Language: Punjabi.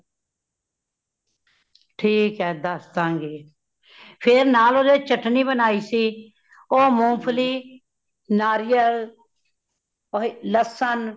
ਠੀਕ ਹੈ ਦੱਸ ਦਾ ਗੀ , ਫੇਰ ਨਾਲ ਉਦ੍ਹੇ ਚਟਨੀ ਬਨਾਈ ਸੀ, ਉਹ ਮੂੰਗਫ਼ਲੀ , ਨਾਰੀਅਲ , ਲਸਣ